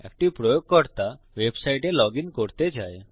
একটি প্রয়োগকর্তা ওয়েবসাইটে লগইন করতে চায়